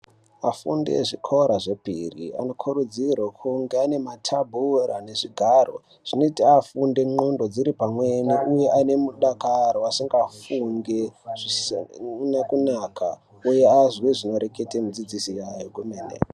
Afundi ezvikora zvepiri anokurudzirwe kunga ane matembura nezvigaro zvinota afunde ndxondo dziri pamweni, uye aine mudakaro asingafungi zvisina kunaka, uye azwe zvinoreketa mudzidzisi yayo kwemene.